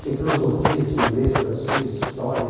Tinha filosofia, tinha inglês, francês, história.